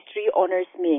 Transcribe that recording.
history honours में